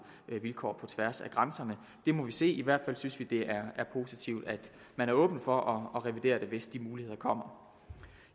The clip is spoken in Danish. vilkår på tværs af grænserne det må vi se på i hvert fald synes vi det er positivt at man er åben over for at revidere det hvis de muligheder kommer